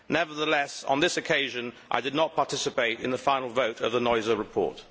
Nevertheless, on this occasion I did not participate in the final vote of the Neuser report.